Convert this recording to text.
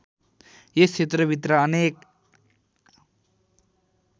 यस क्षेत्रभित्र अनेक